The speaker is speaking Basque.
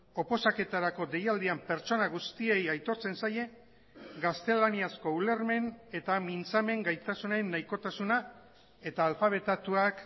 oposaketarako deialdian pertsona guztiei aitortzen zaie gaztelaniazko ulermen eta mintzamen gaitasunen nahikotasuna eta alfabetatuak